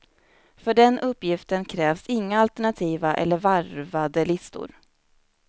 För den uppgiften krävs inga alternativa eller varvade listor.